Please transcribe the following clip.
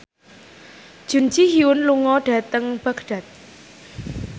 Jun Ji Hyun lunga dhateng Baghdad